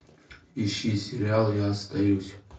ищи сериал я остаюсь